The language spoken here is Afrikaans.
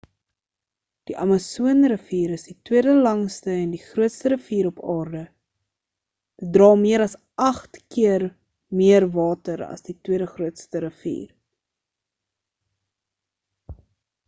die amasoon rivier is die tweede langste en die grootste rivier op aarde dit dra meer as 8 keer meer water as die tweede grootste rivier